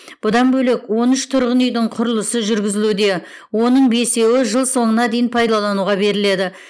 бұдан бөлек он үш тұрғын үйдің құрылысы жүргізілуде оның бесеуі жыл соңына дейін пайдалануға беріледі